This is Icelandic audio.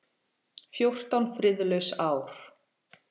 Fjórtán friðlaus ár.